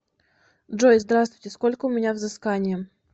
джой здравствуйте сколько у меня взыскание